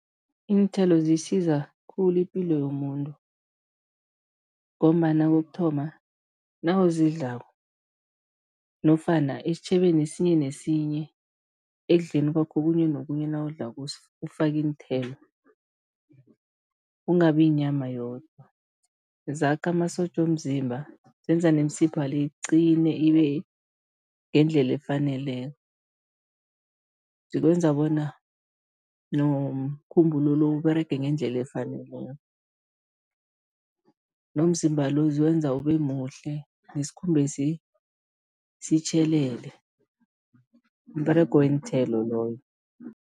Iinthelo zisiza khulu ipilo yomuntu ngombana kokuthoma, nawuzidlalako nofana esitjhebeni esinye nesinye, ekudleni kwakho okhunye nokhunye nawudlako ufake iinthelo, kungabi yinyama yodwa. Zakha amasotja womzimba, zenza nemisipha le iqine, ibe ngendlela efaneleko, zikwenza bona nomkhumbulo lo Uberege ngendlela efaneleko, nomzimba lo ziwenza ube muhle, nesikhumbesi sitjhelele, mberego weenthelo loyo.